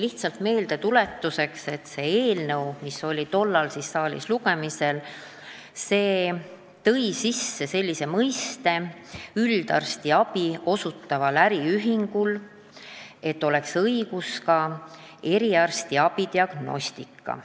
Lihtsalt meeldetuletuseks ütlen, et see eelnõu, mis oli tollal saalis lugemisel, tõi seadusesse sisse selle, et üldarstiabi osutaval äriühingul oleks õigus tegelda ka eriarstiabi esmase diagnostikaga.